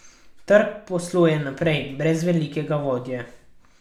Trg posluje naprej, brez velikega vodje.